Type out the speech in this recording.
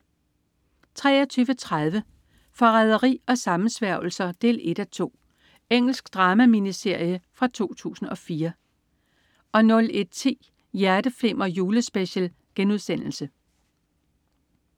23.30 Forræderi og sammensværgelser 1:2. Engelsk drama-miniserie fra 2004 01.10 Hjerteflimmer: Julespecial*